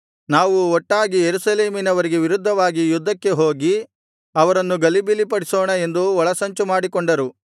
ನಾವು ಒಟ್ಟಾಗಿ ಯೆರೂಸಲೇಮಿನವರಿಗೆ ವಿರುದ್ಧವಾಗಿ ಯುದ್ಧಕ್ಕೆ ಹೋಗಿ ಅವರನ್ನು ಗಲಿಬಿಲಿಗೊಳಿಸೋಣ ಎಂದು ಒಳಸಂಚು ಮಾಡಿಕೊಂಡರು